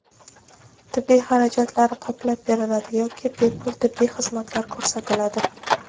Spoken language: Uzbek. tibbiy xarajatlari qoplab beriladi yoki bepul tibbiy xizmatlar ko‘rsatiladi.